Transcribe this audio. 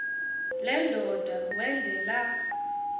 le ndoda wendela